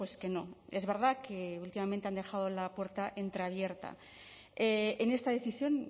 que no es verdad que últimamente han dejado la puerta entreabierta en esta decisión